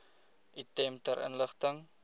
item ter inligting